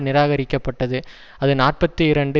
நிராகரிக்கப்பட்டது அது நாற்பத்தி இரண்டு